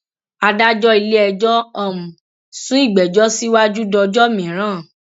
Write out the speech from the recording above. adájọ iléẹjọ um sún ìgbẹjọ síwájú dọjọ mìíràn